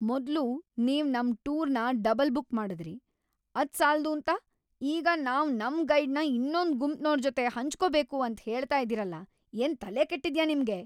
ಮೊದ್ಲು ನೀವ್ ನಮ್ ಟೂರ್‌ನ ಡಬಲ್-ಬುಕ್ ಮಾಡುದ್ರಿ, ಅದ್ ಸಾಲ್ದೂಂತ ಈಗ ನಾವ್ ನಮ್ ಗೈಡ್‌ನ ಇನ್ನೊಂದ್ ಗುಂಪ್ನೋರ್ ಜೊತೆ ಹಂಚ್ಕೊ‌ಬೇಕು ಅಂತ್ ಹೇಳ್ತಾ ಇದೀರಲ, ಏನ್ ತಲೆ ಕೆಟ್ಟಿದ್ಯಾ ನಿಮ್ಗೆ?